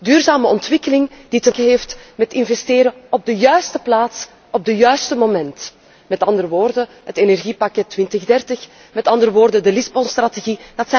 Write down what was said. Duurzame ontwikkeling die te maken heeft met investeren op de juiste plaats, op het juiste moment. Met andere woorden, het energiepakket 2030, met andere woorden, de Lissabon strategie